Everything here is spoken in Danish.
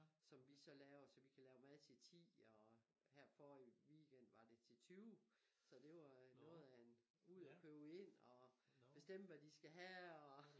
Som vi så laver så vi kan lave mad til ti og her forrig weekend var det til tyve så det var noget af en ud og købe ind og bestemme hvad de skal have og